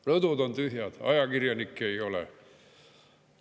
Rõdud on tühjad, ajakirjanikke ei ole.